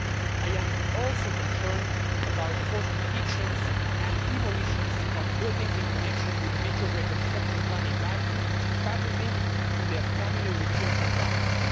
I am also concerned about the forced evictions and demolitions of buildings in connection with the major reconstruction plan in Baku, partly linked to the upcoming Eurovision Song Contest.